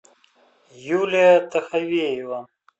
юлия таховеева